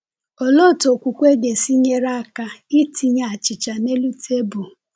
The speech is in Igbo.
Olee otú okwukwe ga-esi nyere aka itinye achịcha n’elu tebụl?